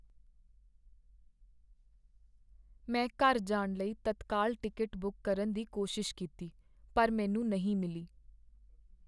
ਮੈਂ ਘਰ ਜਾਣ ਲਈ ਤਤਕਾਲ ਟਿਕਟ ਬੁੱਕ ਕਰਨ ਦੀ ਕੋਸ਼ਿਸ਼ ਕੀਤੀ ਪਰ ਮੈਨੂੰ ਨਹੀਂ ਮਿਲੀ।